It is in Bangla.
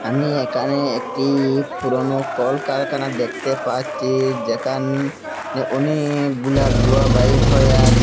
আমি এখানে একটি ফুরোনো কলকারখানা দেখতে পাচ্ছি যেখানে অনেকগুলা ধুঁয়া বাহির হয়ে আসে।